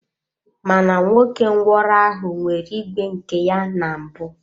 Mana nwoke ngwụro ahụ nwere ìgwè nke ya na mbụ.